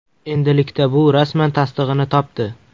Endilikda bu rasman tasdig‘ini topdi.